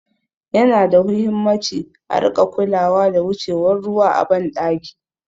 Yana da huhimmaci a rika kulawa da wucewar ruwa a ban ɗaki